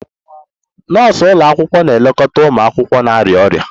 Nọọsụ ụlọ akwụkwọ na-elekọta ụmụ akwụkwọ na-arịa ọrịa